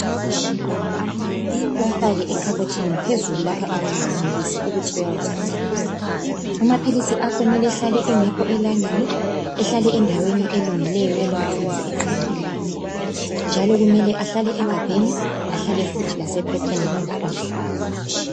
Nxa kulabantwana endlini uwafake ekhabothini, phezulu lapha abangayenelisi ukuthi bewathathe. Amaphilisi akho kumele ehlale engekho elangeni, ehlale endaweni elungileyo, elomthunzi eqandelelayo, njalo kumele ahlale egabheni, ahlale futhi lasephepheni langkhona.